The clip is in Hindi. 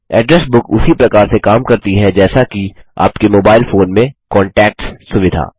एड्रेस बुक उसी प्रकार से काम करती है जैसा कि आपके मोबाईल फोन में कांटैक्ट्स सुविधा